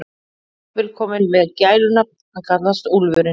Hann er jafnvel kominn með gælunafn, hann kallast Úlfurinn.